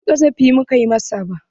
Ba ƙazafi muka masa ba.